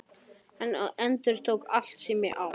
Hann endurtók: Allt sem ég á